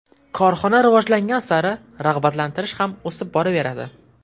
Korxona rivojlangan sari rag‘batlantirish ham o‘sib boraveradi.